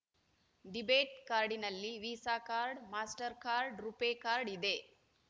debate ಕಾರ್ಡ್‌ನಲ್ಲಿ Visa card Mastercard RuPay card ಇದೆ